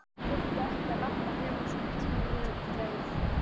Hann þurfti ekki að labba nema svona tíu mínútna leið.